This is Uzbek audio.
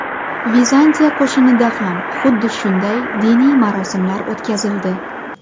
Vizantiya qo‘shinida ham xuddi shunday diniy marosimlar o‘tkazildi.